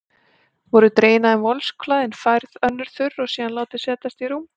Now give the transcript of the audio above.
Voru dregin af þeim vosklæðin, færð önnur þurr og síðan látin setjast í rúm.